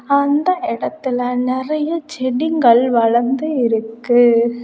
அந்த இடத்துல நிறைய செடிகள் வளர்ந்து இருக்கு.